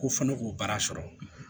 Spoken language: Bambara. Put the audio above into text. Ko fɔ ne k'o baara sɔrɔ